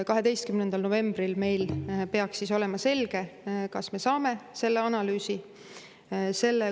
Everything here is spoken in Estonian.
12. novembril meil peaks olema selge, kas me saame selle analüüsi.